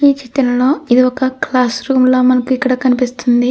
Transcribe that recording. ఈ చిత్రంలో ఇదొక క్లాస్ రూమ్ లా మనకు ఇక్కడ కనిపిస్తుంది.